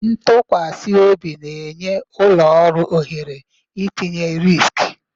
Ntụkwasị obi na-enye ụlọ ọrụ ohere itinye riski